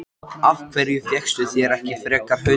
Af hverju fékkstu þér ekki frekar hund?